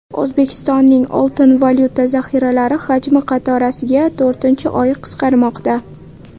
O‘zbekistonning oltin-valyuta zaxiralari hajmi qatorasiga to‘rtinchi oy qisqarmoqda.